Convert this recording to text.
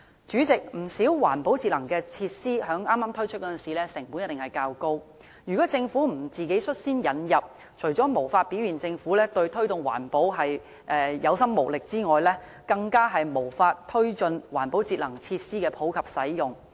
主席，不少環保節能設施在剛推出的時候，成本一定較高，如果政府不率先自行引入，除表現出政府對推動環保有心無力之外，更無法推進環保設施的普及使用。